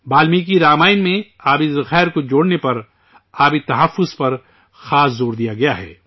والمیکی رامائن میں آبی وسائل کو جوڑنے پر، پانی کے تحفظ پر، خاص زور دیا گیا ہے